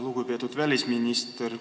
Lugupeetud välisminister!